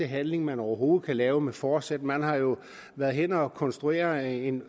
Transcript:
handling man overhovedet kan lave med forsæt man har jo været henne at konstruere en